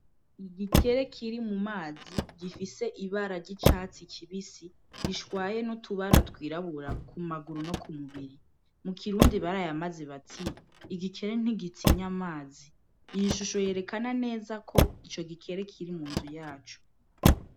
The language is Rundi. Igikere kiri mu mazi, gifise ibara ry'icatsi kibisi, gishwaye n'utubara twirabura ku maguru no ku mubiri, mu kirundi barayamaze bati: "Igikere ntigitinya amazi". Iyi shusho yerekana neza ko ico gikere kiri mu nzu yaco.